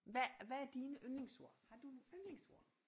Hvad hvad er dine yndlingsord har du nogle yndlingsord